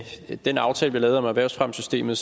den aftale vi lavede om erhvervsfremmesystemet